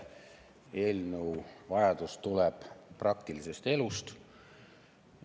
Vajadus selle eelnõu järele tuleneb praktilisest elust.